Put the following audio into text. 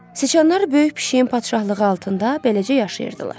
Siçanlar böyük pişiyin padşahlığı altında beləcə yaşayırdılar.